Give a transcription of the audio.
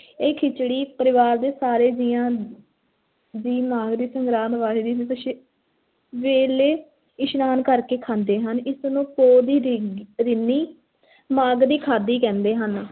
ਇਹ ਖਿਚੜੀ ਪਰਿਵਾਰ ਦੇ ਸਾਰੇ ਜੀਆਂ ਦੀ ਮਾਘ ਦੀ ਸੰਗਰਾਂਦ ਵਾਲੇ ਦਿਨ ਵੇਲੇ ਇਸ਼ਨਾਨ ਕਰ ਕੇ ਖਾਂਦੇ ਹਨ, ਇਸ ਨੂੰ ਪੋਹ ਦੀ ਰਿੰਨੀ ਮਾਘ ਖਾਧੀ ਕਹਿੰਦੇ ਹਨ,